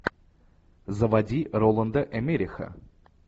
заводи роланда эммериха